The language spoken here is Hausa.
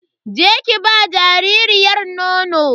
Je ki ba jaririyar nono.